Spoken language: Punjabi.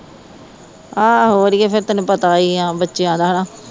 ਆਹੋ ਅੜੀਏ ਫੇਰ ਤੈਨੂੰ ਪਤਾ ਹੀ ਹੈ ਬੱਚਿਆ ਦਾ ਹੈ ਨਾ